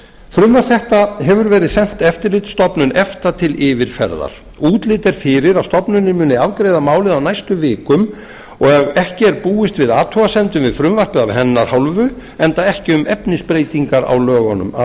frumvarp þetta hefur verið sent eftirlitsstofnun efta til yfirferðar útlit er fyrir að stofnunin muni afgreiða málið á næstu vikum og ef ekki er búist við athugasemdum við frumvarpið af hennar hálfu enda ekki um efnisbreytingar á lögunum að